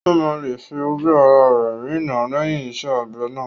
Ó máa lè fi ojú ará rẹ̀ rína lẹ́yìn iṣẹ́ abẹ náà